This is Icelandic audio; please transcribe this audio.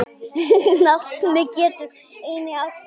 Nafnið getur einnig átt við